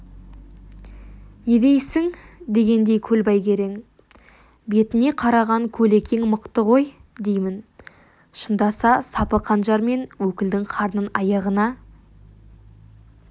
не дейсің дегендей көлбай керең бетіне қараған көлекең мықты ғой деймін шындаса сапы қанжармен өкілдің қарнын аяғына